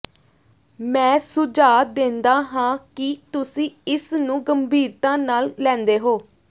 ਮੈਂ ਸੁਝਾਅ ਦਿੰਦਾ ਹਾਂ ਕਿ ਤੁਸੀਂ ਇਸ ਨੂੰ ਗੰਭੀਰਤਾ ਨਾਲ ਲੈਂਦੇ ਹੋ